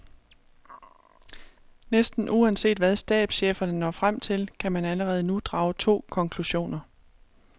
Næsten uanset hvad stabscheferne når frem til, kan man allerede nu drage to konklusioner.